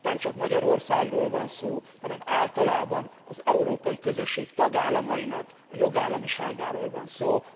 Itt nemcsak Magyarországról van szó, hanem általában az európai közösség tagállamainak a jogállamiságáról van szó.